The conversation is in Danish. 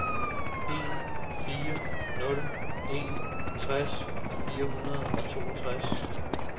en fire nul en tres fire hundrede og toogtres